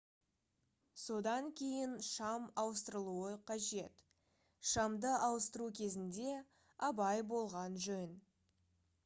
содан кейін шам ауыстырылуы қажет шамды ауыстыру кезінде абай болған жөн